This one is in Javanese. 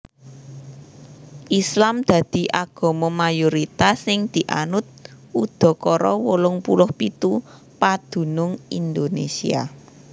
Islam dadi agama mayoritas sing dianut udakara wolung puluh pitu padunung Indonésia